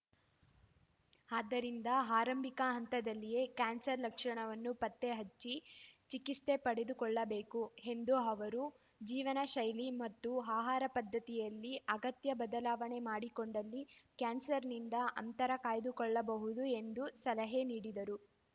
ಆದ್ದರಿಂದ ಆರಂಭಿಕ ಹಂತದಲ್ಲಿಯೇ ಕ್ಯಾನ್ಸರ್‌ ಲಕ್ಷಣವನ್ನು ಪತ್ತೆ ಹಚ್ಚಿ ಚಿಕಿತ್ಸೆ ಪಡೆದುಕೊಳ್ಳಬೇಕು ಎಂದ ಅವರು ಜೀವನಶೈಲಿ ಮತ್ತು ಆಹಾರ ಪದ್ಧತಿಯಲ್ಲಿ ಅಗತ್ಯ ಬದಲಾವಣೆ ಮಾಡಿಕೊಂಡಲ್ಲಿ ಕ್ಯಾನ್ಸರ್‌ನಿಂದ ಅಂತರ ಕಾಯ್ದುಕೊಳ್ಳಬಹುದು ಎಂದು ಸಲಹೆ ನೀಡಿದರು